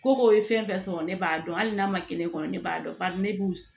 Ko ko ye fɛn fɛn sɔrɔ ne b'a dɔn hali n'a ma kɛ ne kɔnɔ ne b'a dɔn bari ne b'u